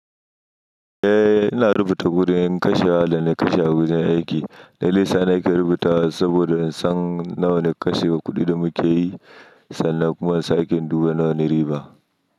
Eh, ina rubuta kuɗin kashewa da na kashe a wajen aiki. Dalilin da yasa nake rubutawa, saboda nasan nawane kashe wa kuɗi da mukeyi sannan kuma in sake in duba nawa ne riba.